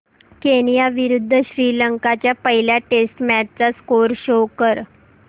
Kenya विरुद्ध श्रीलंका च्या पहिल्या टेस्ट मॅच चा स्कोअर शो कर